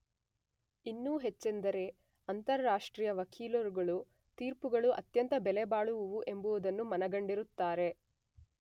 ಇನ್ನೂ ಹೆಚ್ಚೆಂದರೆ ಅಂತಾರಾಷ್ಟ್ರೀಯ ವಕೀಲರುಗಳು ತೀರ್ಪುಗಳು ಅತ್ಯಂತ ಬೆಲೆಬಾಳುವವು ಎಂಬುದನ್ನು ಮನಗಂಡಿರುತ್ತಾರೆ.